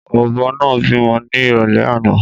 Ọbọ náà bímọ ni irọlẹ àná